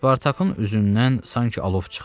Spartakın üzündən sanki alov çıxdı.